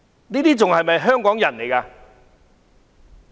他們還算是香港人嗎？